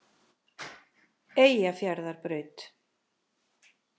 Eyjafjarðarbraut